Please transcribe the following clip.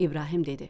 İbrahim dedi: